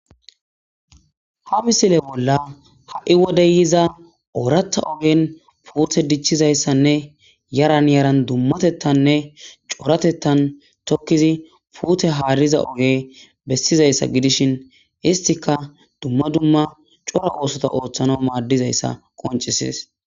Ha bisile bolla ha'i wodeyyiza oorata ogen puute dichchizayssanne yaran yaran dummatettanne coratettan tokkizi puute haariza oge bessizayssa gidishin histika dumma dumma cora oosota ooththana maaddizayssa qoncisis.